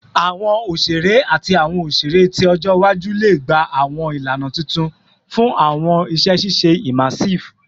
Awọn oṣere ati awọn oṣere ti ọjọ iwaju le gba awọn ilana tuntun fun awọn iṣẹ iṣe immersive